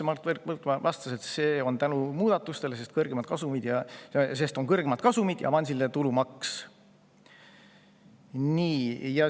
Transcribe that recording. Mart Võrklaev vastas, et see raha tuleb tänu muudatustele, sest on kõrgemad kasumid ja avansiline tulumaks.